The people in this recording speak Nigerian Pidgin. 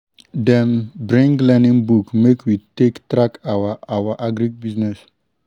dem bring learning book make we take track our our agric business